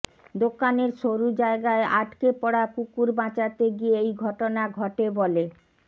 দোকানের সরু জায়গায় আটকে পড়া কুকুর বাঁচাতে গিয়ে এই ঘটনা ঘটে বলে